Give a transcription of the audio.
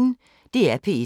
DR P1